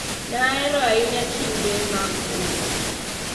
Ne ahero ahinya kinde mag oro.